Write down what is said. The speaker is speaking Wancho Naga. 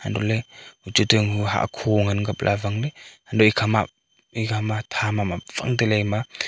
antoh le uchu to hahkho ngan kap le awang le halu ekhama ekhama tham am awang taile ema.